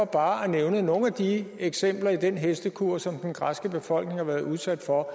bare at nævne nogle af de eksempler i den hestekur som den græske befolkning har været udsat for